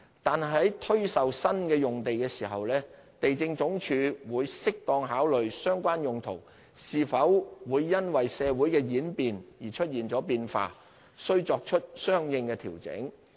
但是，在推售新用地時，地政總署會適當考慮相關用途是否會因為社會的演變而出現了變化，須作出相應的調整。